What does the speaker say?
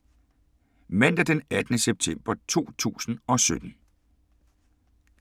Mandag d. 18. september 2017